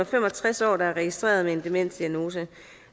fem og tres år der er registreret med en demensdiagnose